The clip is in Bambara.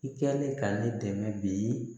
I kɛlen ka ne dɛmɛ bi